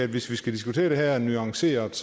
hvis vi skal diskutere det her nuanceret